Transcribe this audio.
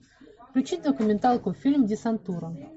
включи документалку фильм десантура